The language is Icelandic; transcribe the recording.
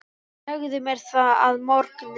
Segðu mér það að morgni.